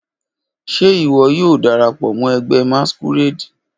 Ṣe iwọ yoo darapọ mọ ẹgbẹ masquerade?